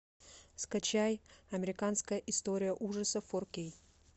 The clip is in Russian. скачай американская история ужасов форкей